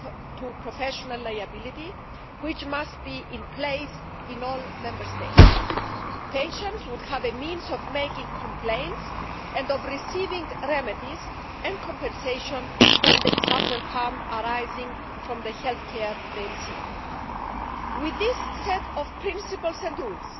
to professional liability, which must be in place in all Member States, patients would have a means of making complaints and of receiving remedies and compensation when they suffer harm arising from the healthcare they receive. With this set of principles and rules,